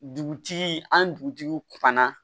Dugutigi an dugutigiw fana